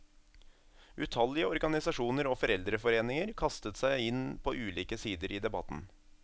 Utallige organisasjoner og foreldreforeninger kastet seg inn på ulike sider i debatten.